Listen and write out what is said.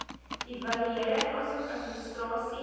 evaluering asook administrasie